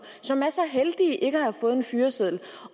som er så heldige ikke at have fået en fyreseddel